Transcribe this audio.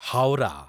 Howrah